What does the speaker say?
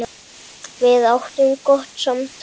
Við áttum gott samtal.